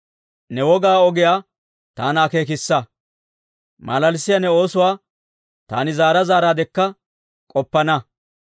Ne wogaa ogiyaa taana akeekissa; malalissiyaa ne oosuwaa taani zaara zaaraadekka k'oppana.